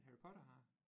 Men Harry Potter har